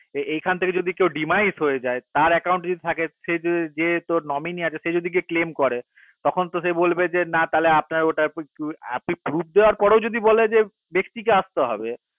এখন থেকে যদি কেও হয়ে যায় তার যদি থাকে যে যদি যে আছে সে যদি গিয়ে করে দেয় তখন তো সে গিয়ে বলবে না আপনার ওটা আপনি দেওয়ার পরেও যদি বলে ব্যাক্তি কে আসতে হবে